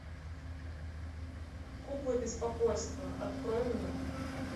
кукла беспокойства открой мне